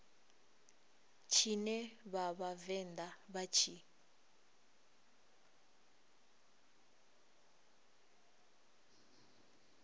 tshine vha vhavenḓa vha tshi